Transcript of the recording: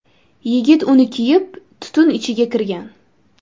Yigit uni kiyib, tutun ichiga kirgan.